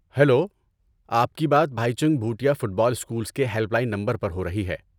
Hello, آپ کی بات بھائی Chung Bhutia football schools کے ہیلپ لائن نمبر پر ہو رہی ہے۔